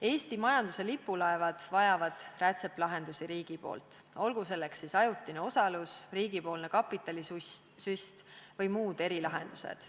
Eesti majanduse lipulaevad vajavad riigilt rätsepalahendusi, olgu selleks siis ajutine osalus, riigipoolne kapitalisüst või muud erilahendused.